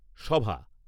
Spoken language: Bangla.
সভা